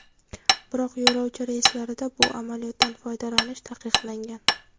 Biroq yo‘lovchi reyslarida bu amaliyotdan foydalanish taqiqlangan.